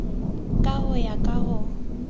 ka ho ya ka ho